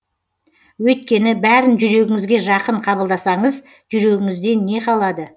өйткені бәрін жүрегіңізге жақын қабылдасаңыз жүрегіңізден не қалады